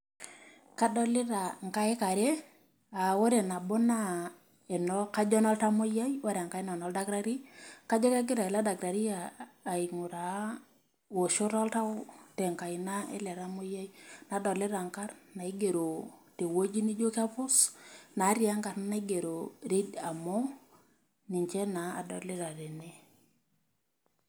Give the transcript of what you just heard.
Kadolita inkaik are, ah ore nabo naa kajo enoltamoyiai, ore enkae naa enoldakitari. Kajo kegira ele dakitari aing'uraa woshot oltau tenkaina ele tamoyiai. Nadolita nkarn naigero tewoji nijo kepus, natii enkarna naigero reader more, ninche naa adolita tene.